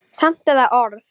Samt er það orð.